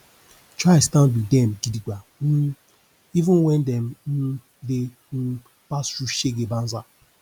try stand wit dem gidigba um even wen dem um dey um pass thru shege banza